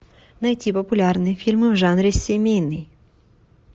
найти популярные фильмы в жанре семейный